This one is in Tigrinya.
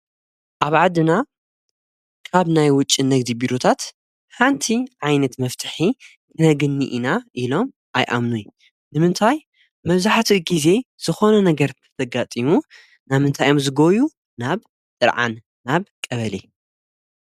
ኣብ ዓድና ካብ ናይ ውጭ ነግዙ ቢሩታት ሓንቲ ዓይነት መፍትሒ ክነግኒ ኢና ኢሎም ኣይኣምኑይ ንምንታይ መዙኃት ጊዜ ዝኾነ ነገር ተተጋጢሙ ናምንታይዮም ዝጐዩ ናብ ጥርዓን ናብ ቀበለ።